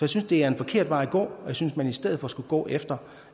synes det er en forkert vej at gå og jeg synes at man i stedet for skulle gå efter